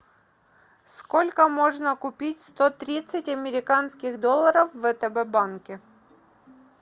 сколько можно купить сто тридцать американских долларов в втб банке